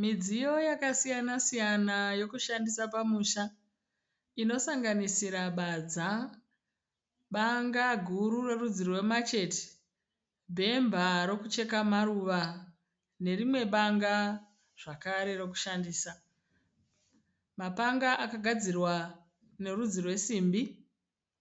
Midziyo yakasiyana siyana yekushandisa pamusha inosanganisira badza, banga guru rerudzi rwemacheti, bhemba rekucheka maruva nerimwe banga zvakare rekushandisa. Mapanga akagadzirwa nerudzi rwesimbi